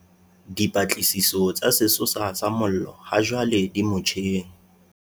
Dipatlisiso tsa sesosa sa mollo hajwale di motjheng.